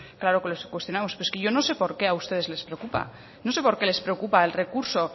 claro que les cuestionamos pero es que yo no sé por qué a ustedes les preocupa no sé por qué les preocupa el recurso